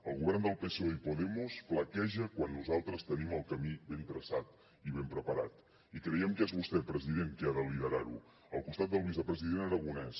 el govern del psoe i podemos flaqueja quan nosaltres tenim el camí ben traçat i ben preparat i creiem que és vostè president qui ha de liderar ho al costat del vicepresident aragonès